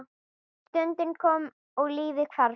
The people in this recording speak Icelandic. Stundin kom og lífið hvarf.